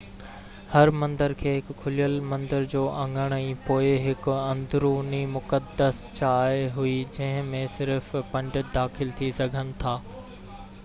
هر مندر کي هڪ کليل مندر جو اڱڻ ۽ پوءِ هڪ اندروني مقدس جاءِ هئي جنهن ۾ صرف پنڊت داخل ٿي سگهن ٿا